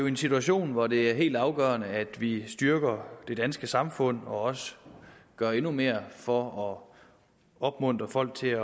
en situation hvor det er helt afgørende at vi styrker det danske samfund og også gør endnu mere for at opmuntre folk til at